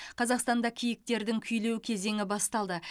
қазақстанда киіктердің күйлеу кезеңі басталды